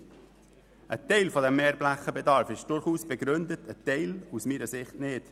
Ein Teil des Mehrflächenbedarfs ist durchaus begründet, ein Teil aus meiner Sicht nicht.